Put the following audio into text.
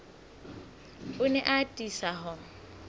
o ne a atisa ho